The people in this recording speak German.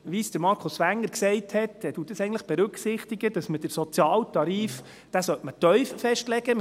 Wie Markus Wenger sagte, berücksichtigt das eigentlich, dass man den Sozialtarif tief festlegen sollte.